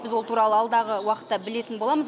біз ол туралы алдағы уақытта білетін боламыз